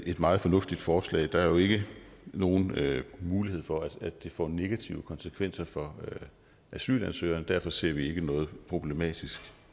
et meget fornuftigt forslag der er jo ikke nogen mulighed for at det får negative konsekvenser for asylansøgeren og derfor ser vi ikke noget problematisk